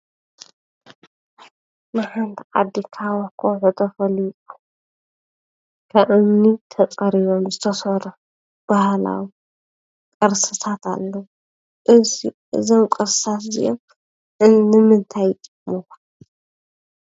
ንሓንቲ ዓዲ ካብ ከውሒ ተፈልፊሎም ካብ እምኒ ተፀሪቦም ዝተሰርሑ ባህላዊ ቅርስታት ኣለዉ፡፡ እዝ እዞም ቅርስታት እዚኦም ንምንታይ ይጠቕሙ/የገልግሉ?